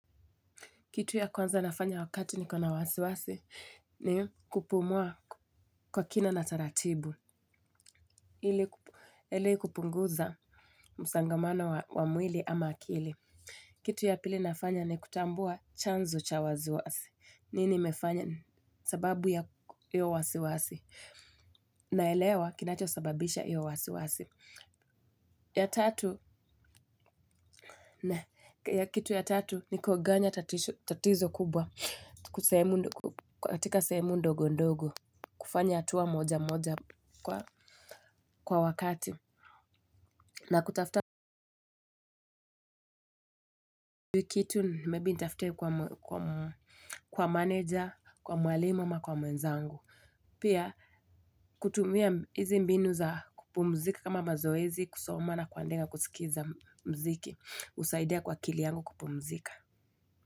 Kitu ya kwanza nafanya wakati nikona wasiwasi ni kupumua kwa kina na taratibu. Ili kupunguza msongamano wa mwili ama akili. Kitu ya pili nafanya ni kutambua chanzo cha wasiwasi. Nini nimefanya sababu ya hiyo wasiwasi. Naelewa kinachosababisha hiyo wasiwasi. Kitu ya tatu ni kugawanya tatizo kubwa. Katika semu ndogo ndogo kufanya hatua moja moja kwa wakati na kutafuta kitu maybe nitafute kwa meneja kwa mwalimu ama kwa mwenzangu pia kutumia hizi mbinu za kupumzika kama mazoezi kusoma na kuandika kusikiza mziki husaidia kwa akili yangu kupumzika.